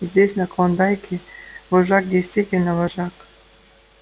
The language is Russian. и здесь на клондайке вожак действительно вожак